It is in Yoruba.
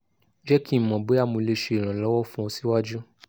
jẹ ki n mọ boya mo le ṣe iranlọwọ fun ọ siwaju